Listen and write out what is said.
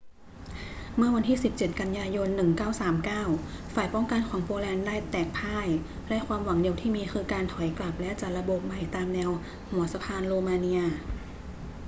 เมื่อวันที่ 17 กันยายน 1939 ฝ่ายป้องกันของโปแลนด์ได้แตกพ่าย และความหวังเดียวที่มีคือการถอยกลับและจัดระบบใหม่ตามแนวหัวสะพานโรมาเนีย